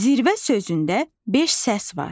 Zirvə sözündə beş səs var.